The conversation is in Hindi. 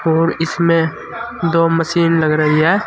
और इसमें दो मशीन लग रही है।